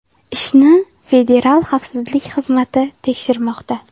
Ishni Federal xavfsizlik xizmati tekshirmoqda.